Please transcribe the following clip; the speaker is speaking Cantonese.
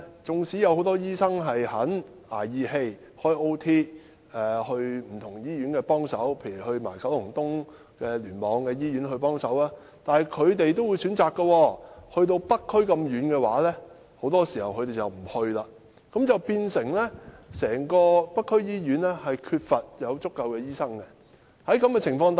縱使很多醫生願意"捱義氣"加班，前往不同的醫院幫忙，例如是九龍東聯網的醫院，但是北區這麼偏遠的地區，他們很多時也選擇不去，結果整個北區醫院均缺乏醫生。